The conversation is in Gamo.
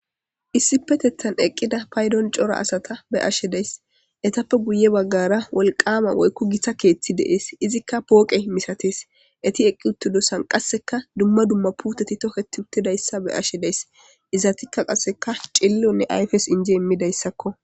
Issipetethan eqqida paydon cora asata be'ashe days etappe guye baggara wolqama woykku gitta keeththi de'ees izikka pooqe misatees eti eqqi uttudossan qasseka dumma dumma puuteti toketi uttidayssa be'ashshe days izatikka qasseka cillonne ayfes inji immidayssakko